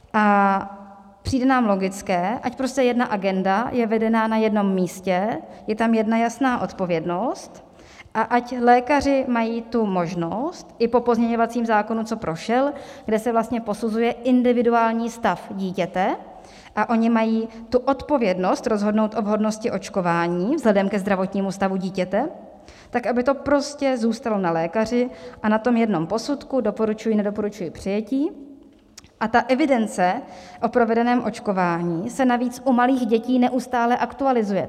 A přijde nám logické, ať prostě jedna agenda je vedena na jednom místě, je tam jedna jasná odpovědnost a ať lékaři mají tu možnost i po pozměňovacím zákonu, co prošel, kde se vlastně posuzuje individuální stav dítěte, a oni mají tu odpovědnost rozhodnout o vhodnosti očkování vzhledem ke zdravotnímu stavu dítěte, tak aby to prostě zůstalo na lékaři a na tom jednom posudku: doporučuji - nedoporučuji přijetí, a ta evidence o provedeném očkování se navíc u malých dětí neustále aktualizuje.